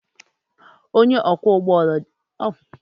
Onye ọkwọ ụgbọala jiri bọọsụ ụlọakwụkwọ bunaa ụmụakwụkwọ ahụ bee ha.